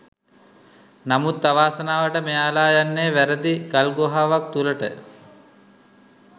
නමුත් අවාසනාවට මෙයාල යන්නේ වැරදි ගල් ගුහාවක් තුලට.